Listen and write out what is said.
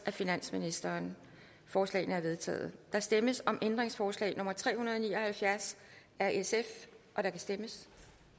af finansministeren forslagene er vedtaget der stemmes om ændringsforslag nummer tre hundrede og ni og halvfjerds af sf og der kan stemmes